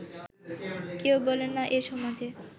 কেউ বলে না এ সমাজে